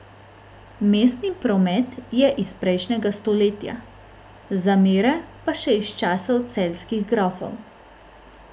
Mestni promet je iz prejšnjega stoletja, zamere pa še iz časov celjskih grofov.